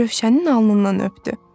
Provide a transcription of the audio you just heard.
Rövşənin alnından öpdü.